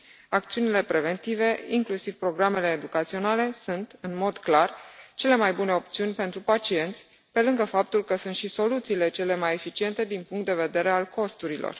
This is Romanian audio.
Acțiunile preventive, inclusiv programele educaționale, sunt în mod clar cele mai bune opțiuni pentru pacienți, pe lângă faptul că sunt și soluțiile cele mai eficiente din punct de vedere al costurilor.